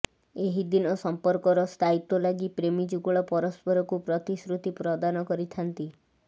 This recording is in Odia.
ଏହିଦିନ ସମ୍ପର୍କର ସ୍ଥାୟିତ୍ୱ ଲାଗି ପ୍ରେମୀ ଯୁଗଳ ପରସ୍ପରକୁ ପ୍ରତିଶ୍ରୁତି ପ୍ରଦାନ କରିଥାନ୍ତି